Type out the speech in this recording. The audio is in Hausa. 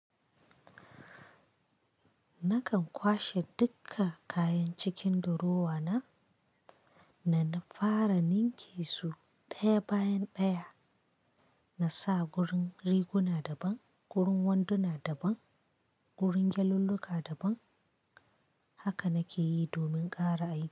Nakan kwashe duka kayan cikin durowa na, na fara ninke su ɗaya bayan ɗaya, na sa gurin riguna daban, gurin wanduna daban, gurin gyallolluka daban haka nake yi domin ƙara ainihi.